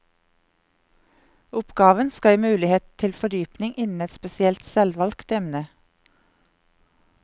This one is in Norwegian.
Oppgaven skal gi mulighet til fordypning innen et spesielt selvvalgt emne.